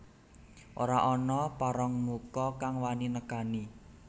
Ora ana parangmuka kang wani nekani